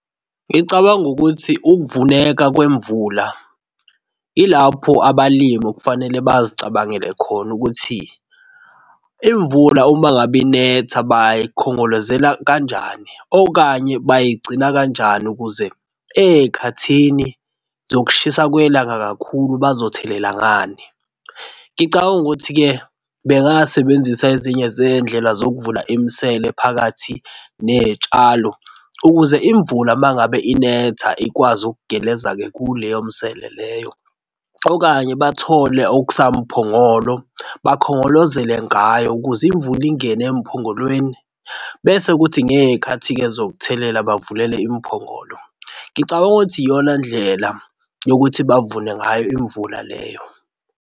Ngicabanga ukuthi ukuvuleka kwemvula ilapho abalimi okufanele bazicabangele khona ukuthi imvula, uma ngabe inetha bayikhongozelela kanjani okanye bayigcina kanjani ukuze ezikhathi zokushisa kwelanga kakhulu bazothelelela ngani. Ngicabanga ukuthi-ke bengasebenzisa ezinye zezindlela zokuvula imisele phakathi nezitshalo ukuze imvula uma ngabe inetha ikwazi ukugeleza-ke kuleyo misele leyo okanye bathole okusamphongolo bakhongolozele ngayo ukuze imvula ingene emphongolweni bese kuthi ngezikhathi-ke zokuthelela bavulele imphongolo. Ngicabanga ukuthi iyona ndlela yokuthi bavune ngayo imvula leyo.